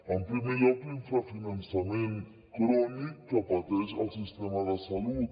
en primer lloc l’infrafinançament crònic que pateix el sistema de salut